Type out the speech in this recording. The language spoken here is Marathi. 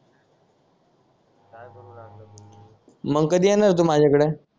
मग कधी येणार तू माझ्याकडं